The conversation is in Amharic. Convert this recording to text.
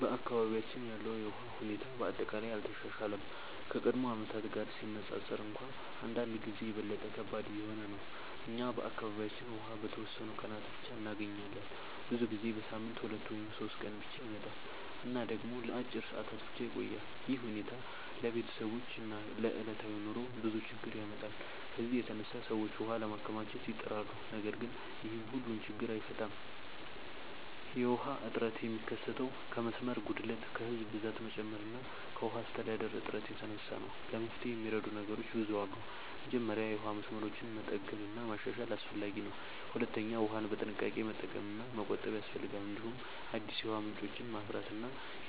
በአካባቢያችን ያለው የውሃ ሁኔታ በአጠቃላይ አልተሻሻለም፤ ከቀድሞ ዓመታት ጋር ሲነፃፀር እንኳን አንዳንድ ጊዜ የበለጠ ከባድ እየሆነ ነው። እኛ በአካባቢያችን ውሃ በተወሰኑ ቀናት ብቻ እንገኛለን፤ ብዙ ጊዜ በሳምንት 2 ወይም 3 ቀን ብቻ ይመጣል እና ደግሞ ለአጭር ሰዓታት ብቻ ይቆያል። ይህ ሁኔታ ለቤተሰቦች እና ለዕለታዊ ኑሮ ብዙ ችግኝ ያመጣል። ከዚህ የተነሳ ሰዎች ውሃ ለማከማቸት ይጥራሉ፣ ነገር ግን ይህም ሁሉን ችግኝ አይፈታም። የውሃ እጥረት የሚከሰተው ከመስመር ጉድለት፣ ከህዝብ ብዛት መጨመር እና ከውሃ አስተዳደር እጥረት የተነሳ ነው። ለመፍትሄ የሚረዱ ነገሮች ብዙ አሉ። መጀመሪያ የውሃ መስመሮችን መጠገን እና ማሻሻል አስፈላጊ ነው። ሁለተኛ ውሃን በጥንቃቄ መጠቀም እና መቆጠብ ያስፈልጋል። እንዲሁም አዲስ የውሃ ምንጮችን ማፍራት እና